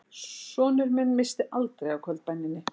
Sonur minn missti aldrei af kvöldbæninni